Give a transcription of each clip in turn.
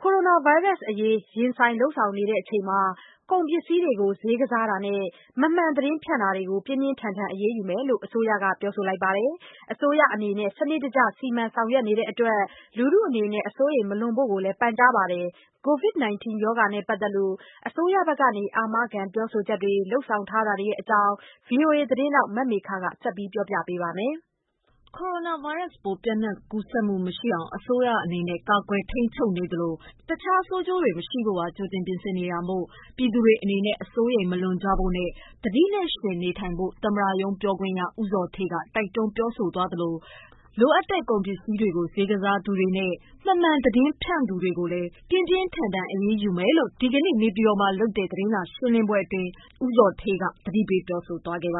ကိုရိုနာဗိုင်းရပ်စ်အရေး ရင်ဆိုင် လုပ်ဆောင်နေချိန်မှာ ကုန်ပစ္စည်းတွေကို ဈေးကစားတာနဲ့ မမှန်သတင်းဖြန့်တာတွေကို ပြင်းပြင်း ထန်ထန် အရေးယူမယ်လို့ အစိုးရကပြောပါတယ်။ အစိုးရအနေနဲ့ စနစ်တကျ စီမံဆောင်ရွက်နေတဲ့အတွက် လူထုအနေနဲ့ အစိုးရိမ် မလွန်ဖို့လည်း ပန်ကြားပါတယ်။ COVID-19 ရောဂါနဲ့ပတ်သက်လို့ အစိုးရဘက်က အာမခံပြောဆိုချက်တွေ၊ လုပ်ဆောင်ထားတာတွေအကြောင်း ဗွီအိုအေသတင်းထောက် မမေခက ဆက်ပြောပြပါမယ်။ ကိုရိုနာဗိုင်းရပ်စ်ပိုး ပျံ့နှံ့ကူးစက်မှု မရှိအောင် အစိုးရအနေနဲ့ ကာကွယ်ထိန်းချုပ်နေသလို တခြား ဆိုးကျိုးတွေ မရှိဖို့ပါ။ ကြိုတင် ပြင်ဆင်နေတာမို့ ပြည်သူတွေ အနေနဲ့ အစိုးရိမ် မလွန်ကြဖို့နဲ့ သတိနဲ့ ယှဉ်နေထိုင်ဖို့ သမ္မတရုံးပြောခွင့်ရ ဦးဇော်ဌေးက တိုက် တွန်းပြောဆိုသလို လိုအပ်တဲ့ ကုန်ပစည်းတွေကိုဈေးကစားသူတွေနဲ့ မမှန်သတင်းဖြန့် သူတွေကိုလည်း ပြင်းပြင်းထန်ထန် အရေးယူမယ်လို့ ဒီကနေ့ နေပြည်တော်မှာလုပ်တဲ့ သတင်းစာရှင်းလင်းပွဲအတွင်း သမ္မတရုံး ပြောခွင့်ရ ဦးဇော်ဌေးက သတိပေးသွားပါတ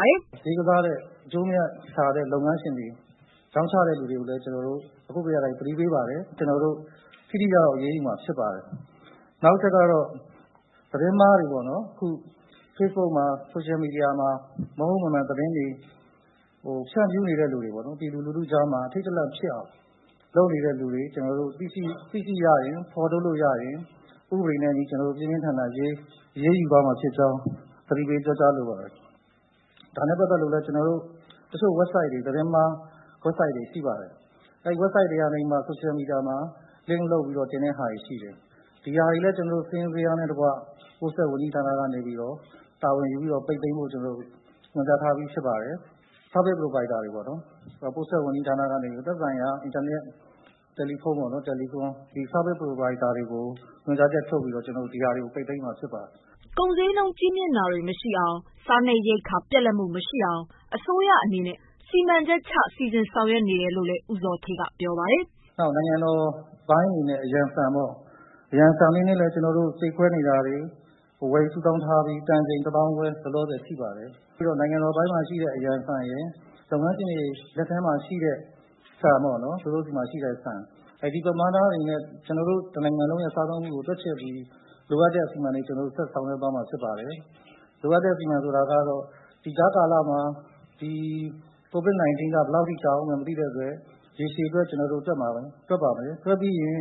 ယ်။ "ဈေးကစားတဲ့ အကျိုး၊ အမြတ်ဆန်တဲ့ လုပ်ငန်းရှင်တွေ၊ ရောင်းချတဲ့သူတွေကိုလည်း ကျနော်တို့ သတိပေးပါတယ်။ ကျနော်တို့ ထိထိရောက်ရောက် အရေးယူမှာ ဖြစ်ပါတယ်။ နောက်အချက်ကတော့ သတင်းအမှားတွေပေါ့နော်.... facebook မှာ၊ social media မှာ မဟုတ်မမှန်သတင်းတွေ ဖြန့်ဖြူးနေတဲ့လူတွေပေါ့နော်၊ ပြည်သူလူထုကြားမှာ အထိတ်တလန့် ဖြစ်အောင် လုပ်နေတဲ့သူတွေ ကျနော်တို့ သိရှိရရင်၊ ဖော်ထုတ်လို့ရရင် ဥပဒေနဲ့ အညီ ကျနော်တို့ ပြင်းပြင်းထန်ထန် အရေးယူသွားမှာဖြစ်ကြောင်း သတိပေးပြောကြားလိုပါတယ်။ ဒါနဲ့ ပတ်သက်လို့လည်း တချို့ website တွေ သတင်းမှာ website တွေ ရှိပါတယ်။ အဲ့ webiste တွေကနေပြီးတော့မှာ social media မှာ link လုပ်ပြီးတော့ တင်တဲ့ဟာတွေရှိတယ်။ ဒီဟာတွေလည်း ကျနော်တို့ စာရင်းဇယားနဲ့ တကွ ပို့ဆက်ဝန်ကြီးဌာနကနေပြီးတော့ တာဝန်ယူပြီးတော့ ပိတ်သိမ်းဖို့ ကျနော်တို့ ညွှန်ကြားထားပြီး ဖြစ်ပါတယ်။ Service Provider တွေပေါ့နော်... ပို့ဆက်ဝန်ကြီးဌာနကနေပြီးတော့ သက်ဆိုင်ရာ အင်တာနက်၊ တယ်လီဖုန်းပေါ့နော် telecom ဒီ service provider တွေကို ညွှန်ကြားချက်ထုတ်ပြီးတော့ ဒီဟာတွေကို ကျနော်တို့ ပိတ်သိမ်းမှာ ဖြစ်ပါတယ်။" ကုန်ဈေးနှုန်းကြီးမြင့်တာတွေ မရှိအောင်၊ စားနပ်ရိက္ခာ ပြတ်လတ်မှုမရှိအောင် အစိုးရအနေနဲ့ စီမံချက်ချ စီစဉ်ဆောင်ရွက်နေတယ်လို့လည်း ဦးဇော်ဌေးကပြောပါတယ်။ "နောက်နိုင်ငံတော်အပိုင်းအနေနဲ့ အရန်ဆန်ပေါ့... အရန်ဆန်အနေနဲ့လည်း ကျနော်တို့ ကြိတ်ခွဲနေတာတွေ ဝယ်ယူစုဆောင်းထားပြီး တန်ချိန် ၁၅,၀၀၀ လောလောဆယ်ရှိပါတယ်။ ပြီးတော့ နိုင်ငံတော်အပိုင်းမှာ ရှိတဲ့ အရန်ဆန်ရယ်၊ လုပ်ငန်းရှင်တွေ လက်ထဲမှာ ရှိတဲ့ ဆန်ပေါ့နော်.. သူတို့ဆီမှာ ရှိတဲ့ဆန်။ ဒီပမာဏအနေနဲ့ ကျနော်တို့ တနိုင်ငံလုံးရဲ့ စားသုံးမှုကို တွက်ချက်ပြီး လိုအပ်တဲ့ အစီအမံတွေ ဆက်ဆောင်ရွက်သွားမှာ ဖြစ်ပါတယ်။ လိုအပ်တဲ့ အစီအမံဆိုတာကတော့ ဒီကြားကာလမှာ ဒီ covid-19 က ဘယ်လောက်ထိ ကြာဦးမယ် မသိတဲ့အတွက် ရေရှည်အတွက် ကျနော်တို့တွက်ပါမယ်။ တွက်ပြီးရင်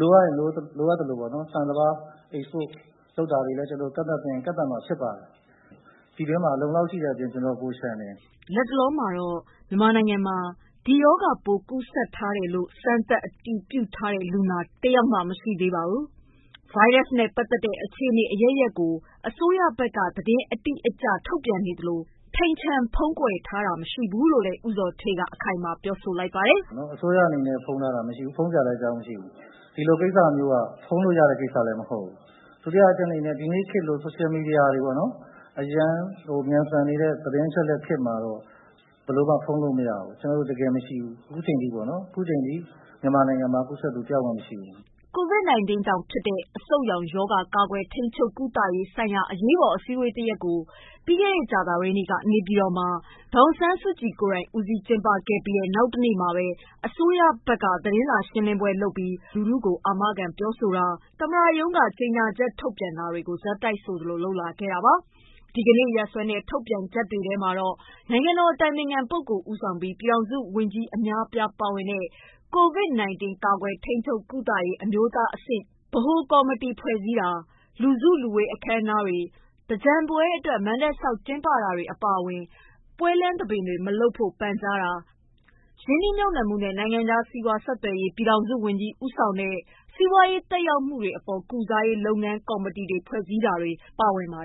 လိုအပ်ရင် လိုအပ်သလိုပေါ့နော်... ဆန်၊ စပါး export လုပ်တာတွေလည်း ကျနော်တို့ ကန့်သတ်သင့်ရင် ကန့်သတ်မှာ ဖြစ်ပါတယ်။ ပြည်တွင်းမှာ အလုံအလောက်ရှိတဲ့အပြင် ကျနော်တို့ ပိုလျှံတယ်။" လတ်တလောမှာတော့ မြန်မာနိုင်ငံမှာ ဒီရောဂါပိုး ကူးစက်ထားတယ်လို့ စမ်းသပ် အတည်ပြုထားတဲ့လူနာ တဦးတယောက်မှ မရှိသေးပါဘူး။ ဗိုင်းရပ်စ်နဲ့ပတ်သက်တဲ့ အခြေအနေအရပ်ရပ်ကို အစိုးရဘက်က သတင်းအတိအကျ ထုတ်ပြန်နေသလို ထိမ်ချန် ဖုံးကွယ်ထားတာ မရှိဘူးလို့လည်း ဦးဇော်ဌေးက အခိုင်အမာပြောပါတယ်။ "အစိုးရအနေနဲ့ ဖုံးထားတာမရှိဘူး။ ဖုံးထားစရာလည်း အကြောင်းမရှိဘူး။ ဒီလို ကိစ္စမျိုးက ဖုံးလို့ရတဲ့ ကိစ္စလည်းမဟုတ်ဘူး။ ဒုတိယအချက်အနေနဲ့ ဒီနေ့ခေတ်လို social media တွေပေါ့နော်.... အရမ်းမြန်ဆန်နေတဲ့ သတင်းအချက်အလက်ခေတ်မှာတော့ ဘယ်လိုမှ ဖုံးလို့ မရဘူး။ ကျနော်တို့ တကယ် မရှိဘူး။ ခုချိန်ထိပေါ့နော်။ အခုအချိန်ထိ မြန်မာနိုင်ငံမှာ ကူးစက်သူ တယောက်မှ မရှိဘူး။" COVID-19 ကြောင့်ဖြစ်တဲ့ အဆုတ်ရောင်ရောဂါ ကာကွယ် ထိန်းချုပ် ကုသရေးဆိုင်ရာ အရေးပေါ်အစည်းအဝေးတရပ်ကို ကြာသပတေးနေ့က နေပြည်တော်မှာ ဒေါ်အောင်ဆန်းစုကြည်ကိုယ်တိုင် ဦးစီးကျင်းပခဲ့ပြီး နောက်တရက်မှာပဲ အစိုးရဘက်က သတင်းစာရှင်းလင်းပွဲလုပ်ပြီး လူထုကို အာမခံပြောဆိုတာ၊ သမ္မတရုံးက ကြေညာချက်ထုတ်ပြန်တာတွေကို ဆက်တိုက်လို လုပ်လာတာပါ။ ဒီကနေ့ရက်စွဲနဲ့ ထုတ်ပြန်ချက်တွေထဲမှာတော့ နိုင်ငံတော်အတိုင်ပင်ခံပုဂ္ဂိုလ် ဦးဆောင်ပြီး ပြည်ထောင်စုဝန်ကြီး အများအပြား ပါဝင်တဲ့ COVID-19 ကာကွယ် ထိန်းချုပ် ကုသရေး အမျိုးသားအဆင့် ဗဟိုကော်မတီ ဖွဲ့စည်းတာ၊ လူစုလူဝေး အခမ်းအနားတွေ၊ သင်္ကြန်ပွဲအတွက် မဏ္ဍပ်ဆောက် ကျင်းပတာအပါအဝင် ပွဲလမ်းသဘင်တွေမလုပ်ဖို့ ပန်ကြားတာ၊ ရင်းနှီးမြှုပ်နှံမှုနဲ့ နိုင်ငံခြား စီးပွားဆက်သွယ်ရေး ပြည်ထောင်စုဝန်ကြီး ဦးဆောင်တဲ့ စီးပွားရေးသက်ရောက်မှုများအပေါ် ကုစားရေး လုပ်ငန်းကော်မတီ ဖွဲ့စည်းတာတွေ ပါဝင်ပါ